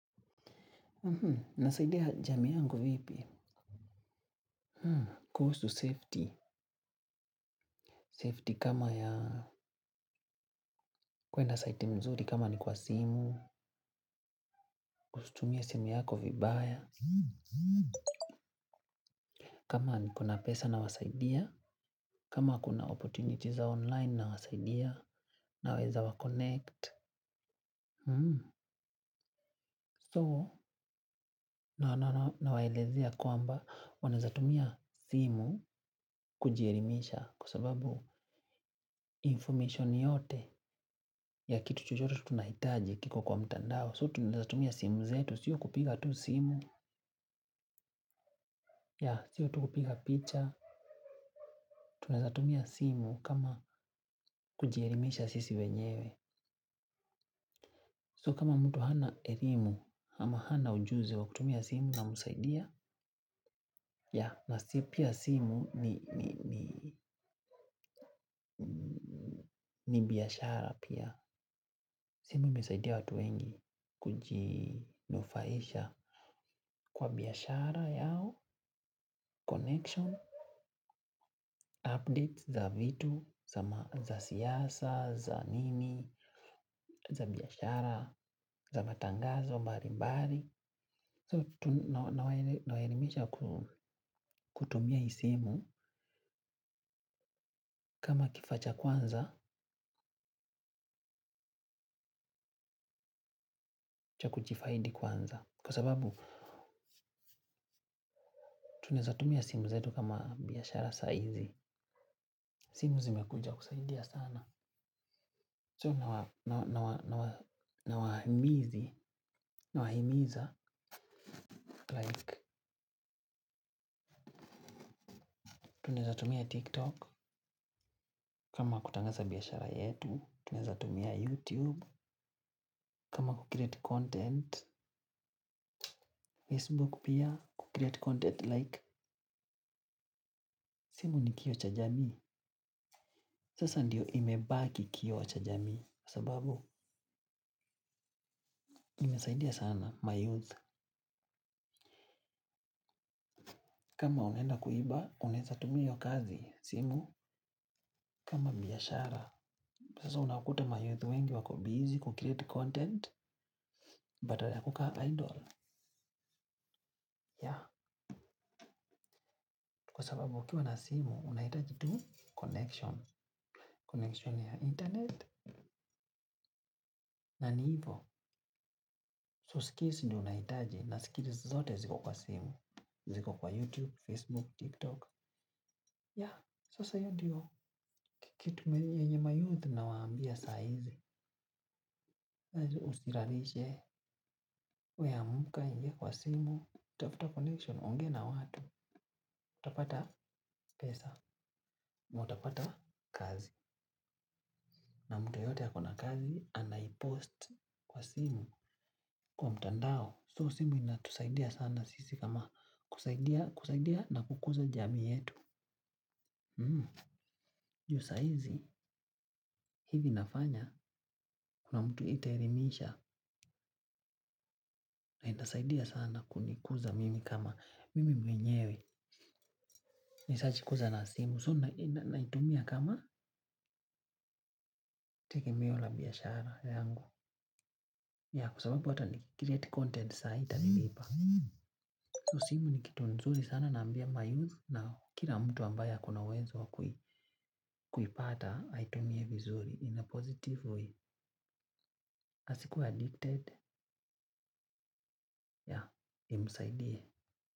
Nasaidia jamii yangu vipi? Kuhusu safety, safety kama ya, kuenda site nzuri kama ni kwa simu, kutumia simu yako vibaya. Kama ni kuna pesa nawasaidia, kama kuna opportunities za online nawasaidia, naweza waconnect. So nawaelezea kwamba wanaweza tumia simu kujielimisha kwa sababu, information yote ya kitu chuchote tunahitaji kiko kwa mtandao so tunaweza tumia simu zetu sio kupiga tu simu ya sio tukupiga picha, tunaweza tumia simu kama kujielimisha sisi wenyewe. So kama mtu hana erlmu, ama hana ujuzi wa kutumia simu namsaidia, na pia simu ni ni biashara pia. Simu imesaidia watu wengi kujinufaisha kwa biashara yao, connection update za vitu, za siasa, za nini, za biashara, za matangazo mbali mbali. So, nawaelimisha kutumia hii simu kama kifaa cha kwanza cha kujifaidi kwanza. Kwa sababu, tunaweza tumia simu zetu kama biashara saizi. Simu zimekuja kusaidia sana. So, nawahimizi, nawahimiza. Like, tunaweza tumia tiktok kama kutangaza biashara yetu. Tunaweza tumia youtube, kama kucreate content. Facebook pia, kucreate content like. Simu ni kioo cha jamii. Sasa ndiyo imebaki kioo cha jamii, sababu inasaidia sana mayouth. Kama unaenda kuiba, unaweza tumia hiyo kazi, simu, kama biashara. Sasa unakuta mayouth wengi wako busy kucreate content, badala ya kukaa idle. Ya, kwa sababu ukiwa na simu, unahitaji tu connection, connection ya internet. Na ni hivo, so skills ndiyo unahitaji, na skills zote ziko kwa simu. Ziko kwa YouTube, Facebook, TikTok. Ya, sasa hiyo ndiyo kitu yenye mayouth nawaambia sa hii. Saju usilalishe, we amka uingie kwa simu. Tafta connection, ongea na watu. Utapata pesa, na utapata kazi. Na mtu yoyote ako na kazi anaipost kwa simu. Kwa mtandao, so simu inatusaidia sana sisi kama kusaidia na kukuza jamii yetu. Hmm, juu saa hizi, hivi nafanya kuna mtu itaelimisha, na inasaidia sana kunikuza mimi kama mimi mwenyewe ni search kwanza na simu. So, naitumia kama tegemeo la biashara yangu. Ya, kwa sababu hata nicreate content saa hii itanilipa. So, simu ni kitu nzuri sana naambia mayouth na kila mtu ambaye ako na uwezo wa kuipata aitumie vizuri in a positive way. Asikuwe addicted, ya, imsaidie.